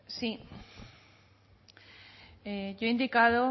sí yo he indicado